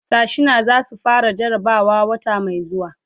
Sashena zai su fara jarabawa wata mai zuwa.